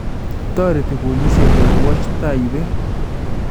Toreti boolisyek korwoch taiyeet